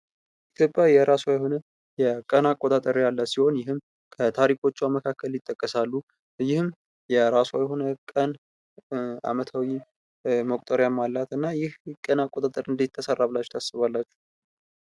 ኢትዮጵያ የሆነ የቀን አቆጣጠር ያላት ሲሆን ይህም ከታሪኮቿ መካከል ይጠቀሳሉ። ይህም የራሷ የሆነ ቀን አመታዊ መቁጠሪያም አላት። እና ይህ ቀን አቆጣጠር እንደት ተሰራ ብላችሁ ታስባላችሁ።